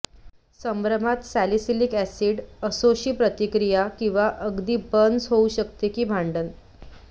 संभ्रमात salicylic acid असोशी प्रतिक्रिया किंवा अगदी बर्न्स होऊ शकते की भांडणे